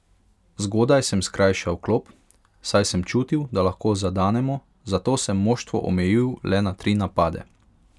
Zgodaj sem skrajšal klop, saj sem čutil, da lahko zadanemo, zato sem moštvo omejil le na tri napade.